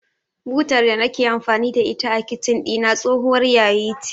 Butar da nake amfani da ita a Kicin ɗina tsohuwar yayi ce.